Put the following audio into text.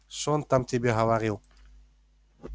что он там тебе говорил